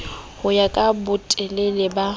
ho ya ka botelele ba